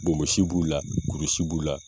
Bonbonsi b'u la kurusi b'u la